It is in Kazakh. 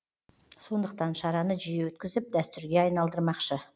сондықтан шараны жиі өткізіп дәстүрге айналдырмақшы